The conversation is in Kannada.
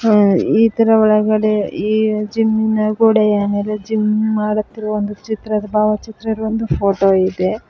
ಅ ಇದರ ಒಳಗಡೆ ಈ ಜಿಮ್ ನ ಗೋಡೆಯ ಮೇಲೆ ಜಿಮ್ ಮಾಡುತ್ತಿರುವ ಒಂದು ಚಿತ್ರ ಒಂದು ಭಾವಚಿತ್ರದ ಫೋಟೋ ಇದೆ.